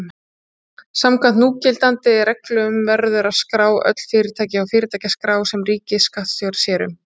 Samkvæmt núgildandi reglum verður að skrá öll fyrirtæki hjá fyrirtækjaskrá sem ríkisskattstjóri sér um.